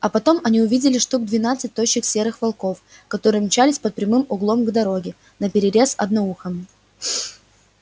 а потом они увидели штук двенадцать тощих серых волков которые мчались под прямым углом к дороге наперерез одноухому